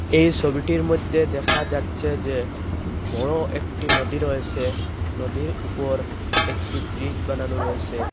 এই সবিটির মধ্যে দেখা যাচ্ছে যে বড় একটি নদী রয়েসে নদীর ওপর একটি ব্রিজ বানানো রয়েসে।